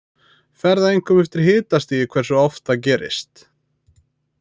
Fer það einkum eftir hitastigi hversu oft það gerist.